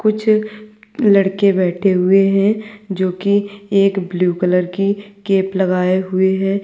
कुछ लड़के बैठे हुए हैं जो कि एक ब्लू कलर कि कैप लगाए हुए हैं।